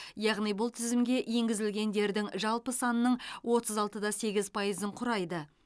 яғни бұл тізімге енгізілгендердің жалпы санының отыз алты да сегіз пайызын құрайды